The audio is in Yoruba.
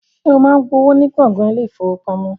Ṣé o máa ń gba owó ní gbọ̀ngàn ilé-ìfowópamọ́?